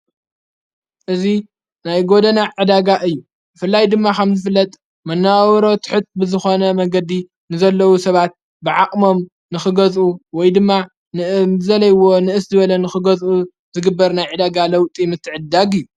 እዙ ናይ ጐደናዕ ዕዳጋ እዩ ፍላይ ድማ ኻም ዝፍለጥ መነዋበሮ ትሑጥ ብዝኾነ መገዲ ንዘለዉ ሰባት ብዓቕሞም ንኽገዝኡ ወይ ድማ ንእዘለይዎ ንእስ ዝበለ ንኽገዝኡ ዝግበር ናይ ዕዳጋ ለውጢ ምትዕዳግ እዩ።